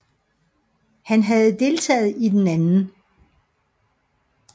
Han havde deltaget i den 2